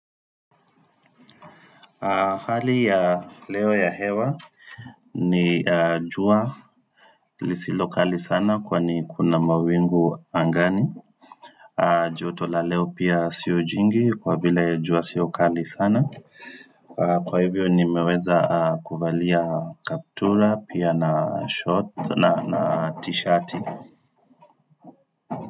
Hali ya leo ya hewa ni jua lisilokali sana kwa ni kuna mawingu angani joto la leo pia siyo jingi kwa bila jua sio kali sana Kwa hivyo nimeweza kuvalia kaptura pia na short na t-shirt.